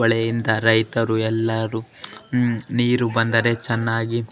ಹೊಳೆಯಿಂದ ರೈತರು ಎಲ್ಲರೂ ನೀರು ಬಂದರೆ ಚೆನ್ನಾಗಿ --